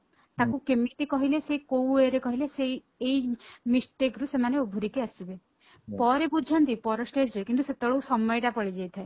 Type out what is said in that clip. ତାଙ୍କୁ କେମିତି କହିଲେ ସେ କୋଉ way ରେ କହିଲେ ସେଇଏଇ mistake ରୁ ସେମାନେ ଉଧୁରିକି ଆସିବେ ପରେ ବୁଝନ୍ତି ପର stage ରେ କିନ୍ତୁ ସେତେବେଳେ ସମୟ ଟା ପଳେଈ ଯାଇଥାଏ